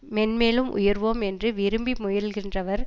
மேன்மேலும் உயர்வோம் என்று விரும்பி முயல்கின்றவர்